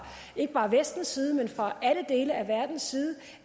ikke bare vestens side men fra alle dele af verdens side